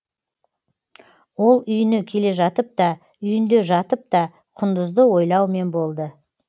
ол үйіне келе жатып та үйінде жатып та құндызды ойлаумен болды